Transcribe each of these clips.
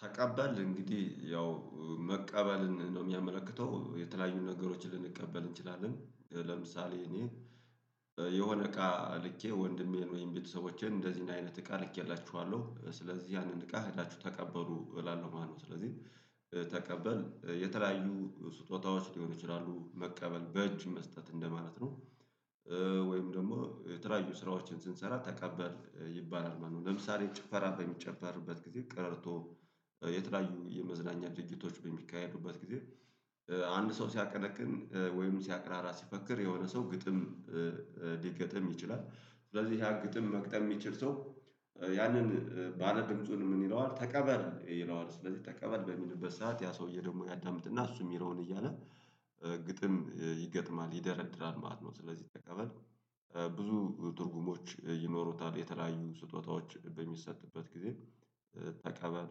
ታቀበለ እንግዲህ ያው መቀበልን ነው የሚያመለክተው የተለያዩ ነገሮችን ልንቀበል እንችላለን ለምሳሌ እኔ የሆነ እቃ ልኬ ወንድሜን ወይም ቤተሰቦቼን እንደዚህ አይነት እቃ ልኬላችኋለሁ ስለዚህ ያንን እቃ ሄዳችሁ ተቀበሉ እላለሁ ማለት ነው። ስለዚህ ተቀበል የተለያዩ ስጦታዎች ሊሆኑ ይችላሉ መቀበል በእጅ መስጠት እንደማለት ነው። ወይም ደግሞ የተያዩ ስራዎችን ስንሰራ ተቀበል ይባላል ማለት ነው። ለምሳሌ ጭፈራ በሚጨፈርበት ጊዜ ቀረርቶ የተለያዩ የመዝናኛ ጅጅቶች በሚካሄዱበት ጊዜ አንድ ሰው ሲያቀንቅን ወይም ሲያቅራራ ሲፈክር የሆነ ሰው ግጥም ሊገጥም ይችላል። ስለዚህ ያ ግጥም መግጠም የሚችል ሰው ያንን ባለድምጹን ምን ይለዋል ተቀበል ይለዋል ስለዚህ ተቀበል በሚልበት ሰዓት ያ ሰውዬ ደግሞ ያዳምጥና እሱ የሚለውን እያለ ግጥም ይገጥማል ይደረድራል ማለት ነው። ስለዚህ ተቀበል ብዙ ትርጉሞች ይኖሩታል የተለያዩ ስጦታዎች በሚሰጥበት ጊዜ ተቀበል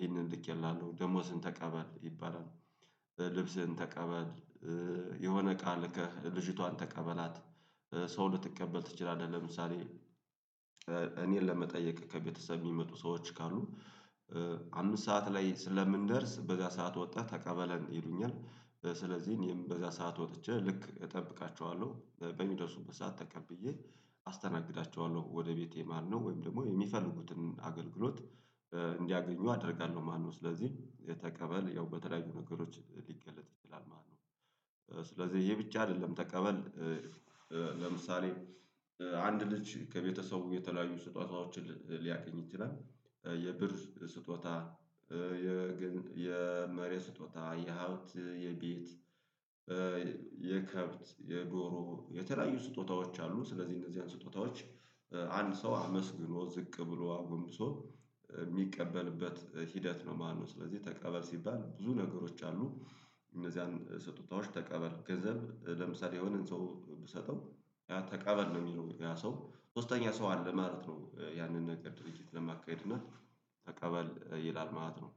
ይህንን ልኬልሃለው ደሞዝን ተቀበል ይባላል። ልብስህን ተቀበል የሆነ እቃ ልከህ ልጅቷን ተቀበላት። ሰው ልትቀበል ትችላለህ ለምሳሌ እኔን ለመጠየቅ ከቤተሰብ የሚመጡ ሰዎች ካሉ አምስት ሰዓት ላይ ስለምንደርስ በዛ ሰዓት ወጣ ተቀበለን ይሉኛል። ስለዚህ እኔም በዛ ሰዓት ወጥቼ ልክ እጠብቃቸዋለሁ በሚደርሱበት ሰዓት ተቀብዬ አስተናግዳቸዋለሁ ወደ ቤቴ ማለት ነው። ወይም ደግሞ የሚፈልጉትን አገልግሎት እንዲያገኙ አደርጋለሁ ማለት ነው። ስለዚህ የተቀበል ያው በተለያዩ ነገሮች ሊገለጥ ይችላል ማለት ነው። ስለዚህ ይሄ ብቻ አይደለም ተቀበል። ለምሳሌ አንድ ልጅ ከቤተሰቡ የተለያዩ ስጦታዎችን ሊያገኝ ይችላል። የብር ስጦታ የ ግን የመሬት ስጦታ የሀብት የቤት የከብት የዶሮ የተለያዩ ስጦታዎች አሉ። ስለዚህ እነዚህን ስጦታዎች አንድ ሰው አመስግኖ ዝቅ ብሎ አጎንብሶ የሚቀበልበት ሂደት ነው ማለት ነው። ስለዚህ ተቀበል ሲባል ብዙ ነገሮች አሉ። እነዚያን ስጦታዎች ተቀበል ገንዘብ ለምሳሌ የሆነን ሰው ብሰጠው ያ ተቀበል ነው። የሚለው ያ ሰው ሶስተኛ ሰው አለ ማለት ነው። ያንን ነገር ድርጅት ለማካሄድ እና ተቀበል ይላል ማለት ነው።